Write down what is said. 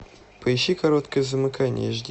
поищи короткое замыкание эш ди